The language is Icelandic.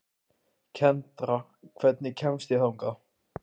Kendra, hvernig kemst ég þangað?